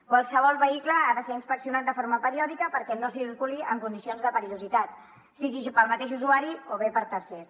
qualsevol vehicle ha de ser inspeccionat de forma periòdica perquè no circuli en condicions de perillositat sigui per al mateix usuari o bé per a tercers